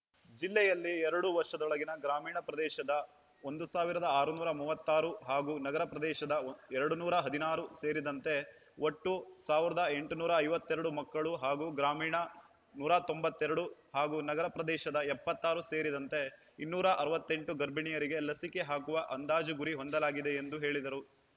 ಜಿಲ್ಲೆಯಲ್ಲಿ ಎರಡು ವರ್ಷದೊಳಗಿನ ಗ್ರಾಮೀಣ ಪ್ರದೇಶದ ಒಂದು ಸಾವಿರದ ಆರುನೂರ ಮೂವತ್ತ್ ಆರು ಹಾಗೂ ನಗರ ಪ್ರದೇಶದ ಎರಡನೂರು ಹದಿನಾರು ಸೇರಿದಂತೆ ಒಟ್ಟು ಸಾವಿರದ ಎಂಟುನೂರ ಐವತ್ತ್ ಎರಡು ಮಕ್ಕಳು ಹಾಗೂ ಗ್ರಾಮೀಣ ನೂರ ತೊಂಬತ್ತ್ ಎರಡು ಹಾಗೂ ನಗರ ಪ್ರದೇಶದ ಎಪ್ಪತ್ತ್ ಆರು ಸೇರಿದಂತೆ ಇನ್ನೂರ ಅರವತ್ತೆಂಟು ಗರ್ಭಿಣಿಯರಿಗೆ ಲಸಿಕೆ ಹಾಕುವ ಅಂದಾಜು ಗುರಿ ಹೊಂದಲಾಗಿದೆ ಎಂದು ಹೇಳಿದರು